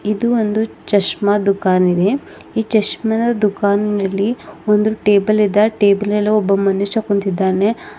ಇದು ಒಂದು ಚಸ್ಮಾ ದುಕಾನ್ ಇದೆ ಈ ಚಸ್ಮಾದ ದುಕಾನಿನಲ್ಲಿ ಒಂದು ಟೇಬಲ್ ಇದೆ ಆ ಟೇಬಲ ಲ್ಲಿ ಒಬ್ಬ ಮನುಷ್ಯ ಕುಂತಿದ್ದಾನೆ.